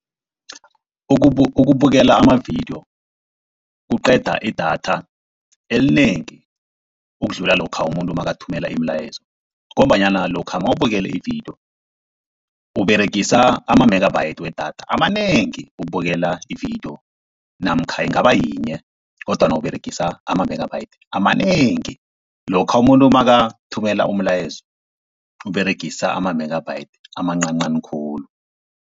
Ukubukela amavidiyo kuqeda idatha elinengi ukudlula lokha umuntu nakathumela imilayezo, ngombanyana lokha nawubukele ividiyo Uberegisa ama-megabyte wedatha amanengi ukubukela ividiyo, namkha ingaba yinye kodwana Uberegisa ama-megabyte amanengi. Lokha umuntu nakathumela umlayezo Uberegisa ama-megabyte amancancani khulu.